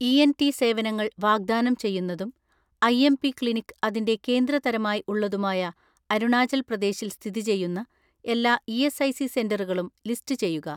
ENT സേവനങ്ങൾ വാഗ്‌ദാനം ചെയ്യുന്നതും ഐ.എം.പി ക്ലിനിക് അതിന്റെ കേന്ദ്ര തരമായി ഉള്ളതുമായ അരുണാചൽ പ്രദേശിൽ സ്ഥിതി ചെയ്യുന്ന എല്ലാ ഇ.എസ്.ഐ.സി സെന്ററുകളും ലിസ്റ്റുചെയ്യുക.